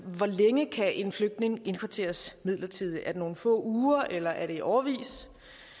hvor længe kan en flygtning indkvarteres midlertidigt er det nogle få uger eller er det i årevis